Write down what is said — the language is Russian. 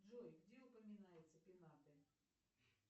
джой где упоминаются пенаты